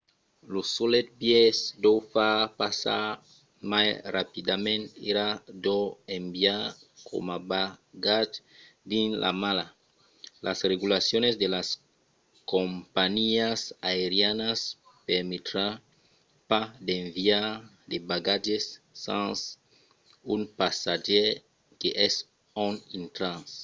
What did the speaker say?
lo solet biais d'o far passar mai rapidament èra d'o enviar coma bagatge dins la mala. las regulacions de las companhiás aerianas permetrà pas d'enviar de bagatges sens un passatgièr que es ont intratz